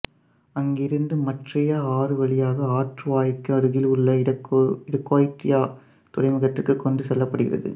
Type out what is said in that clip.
அங்கிருந்து மட்ரியா ஆறு வழியாக ஆற்று வாய்க்கு அருகில் உள்ள இடகோயட்ரியா துறைமுகத்திற்கு கொண்டு செல்லப் படுகிறது